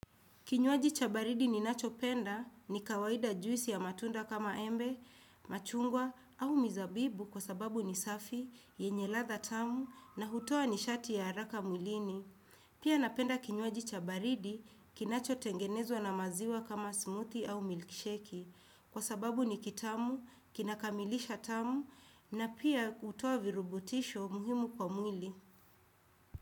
Kinyuaji chabaridi ni nacho penda ni kawaida juisi ya matunda kama embe, machungwa au mizabibu kwa sababu ni safi, yenye latha tamu na hutua ni shati ya haraka mwilini. Pia napenda kinyuaji chabaridi kinacho tengenezwa na maziwa kama smoothie au milkshake kwa sababu ni kitamu, kinakamilisha tamu na pia hutoa virubutisho muhimu kwa mwili.